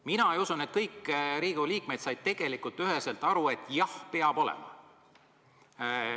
Mina usun, et kõik Riigikogu liikmed said üheselt aru, et jah, peab olema.